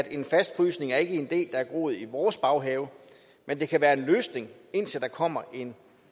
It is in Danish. en fastfrysning er ikke en idé er groet i vores baghave men det kan være en løsning indtil der kommer en